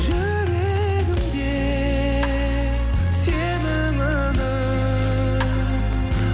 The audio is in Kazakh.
жүрегімде сенің үнің